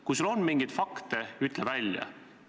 Kui sul on mingeid fakte, ütle välja.